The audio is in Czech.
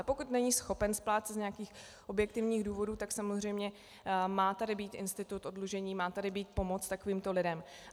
A pokud není schopen splácet z nějakých objektivních důvodů, tak samozřejmě má tady být institut oddlužení, má tady být pomoc takovýmto lidem.